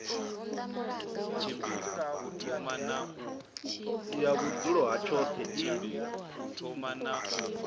ya vhudzulo ha tshoṱhe i